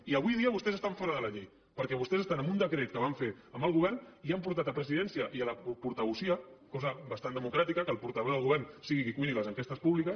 i avui dia vostès estan fora de la llei perquè vostès estan amb un decret que van fer amb el govern i han portat a presidència i a la portavocía cosa bastant democràtica que el portaveu del govern sigui qui cuini les enquestes públiques